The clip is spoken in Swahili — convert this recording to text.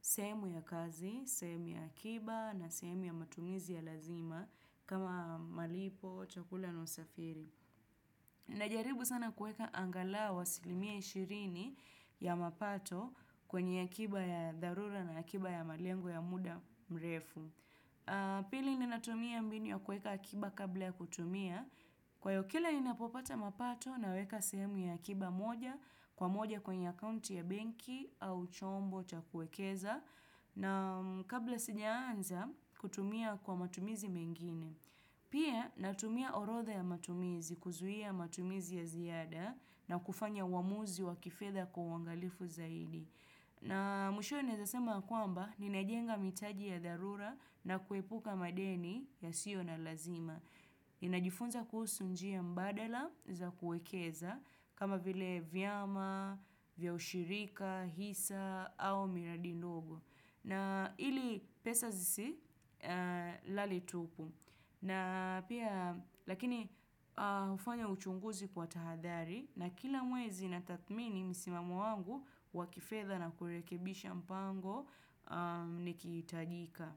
sehemu ya kazi, sehemu ya akiba na sehemu ya matumizi ya lazima kama malipo, chakula na usafiri. Najaribu sana kuweka angalau asilimia ishirini ya mapato kwenye akiba ya dharura na akiba ya malengo ya muda mrefu. Pili ninatumia mbinu ya kueka akiba kabla ya kutumia Kwaiyo kila ninapopata mapato naweka sehemu ya akiba moja Kwa moja kwenye akaunti ya benki au chombo cha kuekeza na kabla sijaanza kutumia kwa matumizi mengine Pia natumia orodha ya matumizi kuzuia matumizi ya ziada na kufanya uamuzi wa kifedha kwa uangalifu zaidi na mwishowe naeza sema kwamba ninajenga maitaji ya dharura na kuepuka madeni yasio na lazima. Ninajifunza kuhusu njia mbadala za kuekeza kama vile vyama, vya ushirika, hisa au miradi ndogo. Na ili pesa zisilale tupu. Na pia lakini hufanya uchunguzi kwa tahadhari na kila mwezi natathmini msimamo wangu wa kifedha na kurekebisha mpango nikihitajika.